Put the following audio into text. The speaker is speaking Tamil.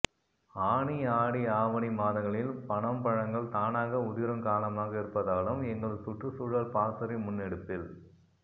ஆனி ஆடி ஆவணி மாதங்களில் பனம்பழங்கள் தானாக உதிரும் காலமாக இருப்பதாலும் எங்கள் சுற்றுச்சூழல் பாசறை முன்னெடுப்பில்